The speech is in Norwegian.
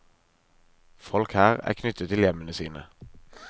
Folk her er knyttet til hjemmene sine.